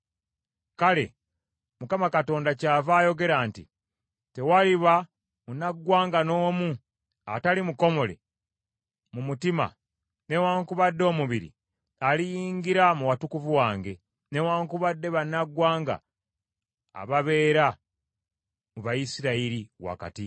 Kale Mukama Katonda kyava ayogera nti, Tewaliba munnaggwanga n’omu atali mukomole mu mutima newaakubadde omubiri aliyingira mu Watukuvu wange, newaakubadde bannaggwanga ababeera mu Bayisirayiri wakati.